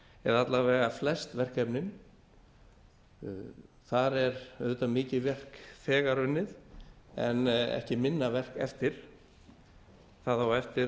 eða alla vega flest verkefnin þar er auðvitað mikið verk þegar unnið en ekki minna verk eftir það á eftir